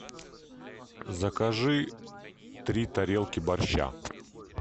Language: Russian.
закажи три тарелки борща